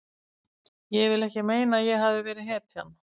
Ég vil ekki meina að ég hafi verið hetjan.